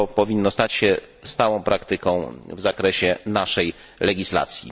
Powinno stać się to stałą praktyką w zakresie naszej legislacji.